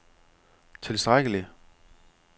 tilstrækkelig